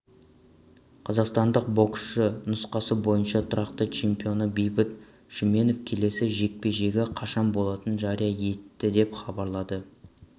қазақстандық боксшы нұсқасы бойынша тұрақты чемпионы бейбіт шүменов келесі жекпе-жегі қашан болатынын жария етті деп хабарлады